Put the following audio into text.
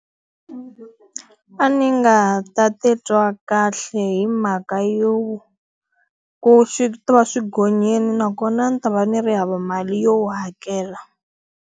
A ni nga ta titwa kahle hi mhaka yo, ku swi ta va swi gonyile nakona ni ta va ni ri hava mali yo hakela.